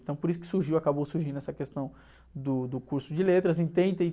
Então, por isso que surgiu, acabou surgindo essa questão do, do curso de letras. Entrei e entrei...